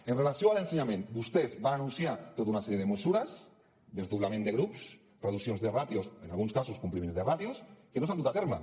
amb relació a l’ensenyament vostès van anunciar tota una sèrie de mesures desdoblament de grups reduccions de ràtios en alguns casos compliment de ràtios que no s’han dut a terme